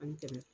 Ani kɛmɛ